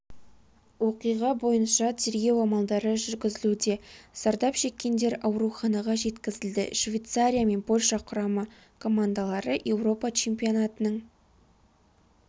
оқиға бойынша тергеу амалдары жүргізілуде зардап шеккендер ауруханаға жеткізілді швейцария мен польша құрама командалары еуропа чемпионатының